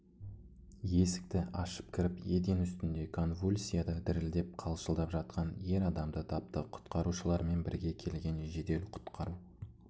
есікті ашып кіріп еден үстінде конвульсияда дірілдеп-қалшылдап жатқан ер адамды тапты құтқарушылармен бірге келген жедел-құтқару